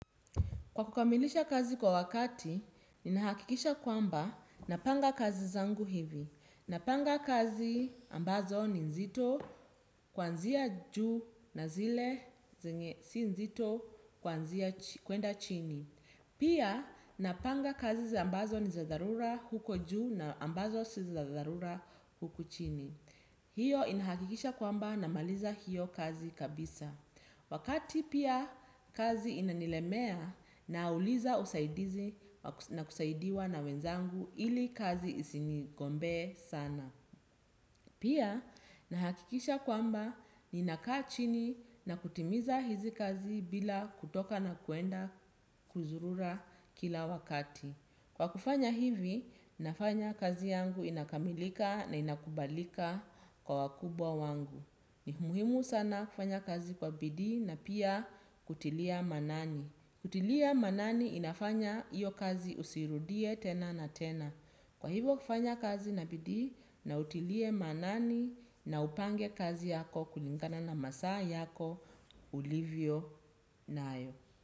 Kwa kukamilisha kazi kwa wakati, ninahakikisha kwamba napanga kazi zangu hivi. Napanga kazi ambazo ni nzito kuanzia juu na zile zenye si nzito kwenda chini. Pia, napanga kazi ambazo ni za dharura huko juu na ambazo si za dharura huku chini. Hiyo inahakikisha kwamba namaliza hiyo kazi kabisa. Wakati pia kazi inanilemea nauliza usaidizi na kusaidiwa na wenzangu ili kazi isinigombee sana. Pia nahakikisha kwamba ninakaa chini na kutimiza hizi kazi bila kutoka na kuenda kuzurura kila wakati. Kwa kufanya hivi, nafanya kazi yangu inakamilika na inakubalika kwa wakubwa wangu. Ni muhimu sana kufanya kazi kwa bidii na pia kutilia maanani kutilia maanani inafanya hiyo kazi usiirudie tena na tena. Kwa hivyo kufanya kazi na bidii na utilie maanani na upange kazi yako kulingana na masaa yako, ulivyo nayo.